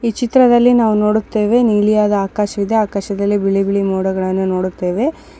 ಈ ಚಿತ್ರದಲ್ಲಿ ನಾವು ನೋಡುತ್ತೇವೆ ನೀಲಿಯಾದ ಆಕಾಶವಿದೆ ಆಕಾಶದಲ್ಲಿ ಬಿಳಿ ಬಿಳಿ ಮೋಡಗಳನ್ನೂ ನೋಡುತ್ತೇವೆ .